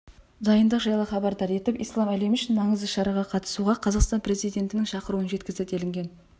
дайындық жайлы хабардар етіп ислам әлемі үшін маңызды шараға қатысуға қазақстан президентінің шақыруын жеткізді делінген